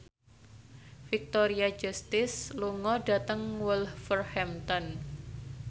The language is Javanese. Victoria Justice lunga dhateng Wolverhampton